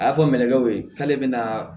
A y'a fɔ minɛkɛw ye k'ale bɛna